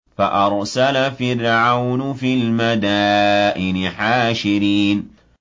فَأَرْسَلَ فِرْعَوْنُ فِي الْمَدَائِنِ حَاشِرِينَ